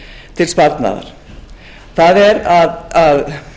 til sparnaðar það er að